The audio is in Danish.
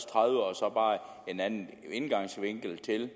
tredive og så bare en anden indgangsvinkel til